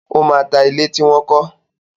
Ó máa ta ilé tí wọn kọ.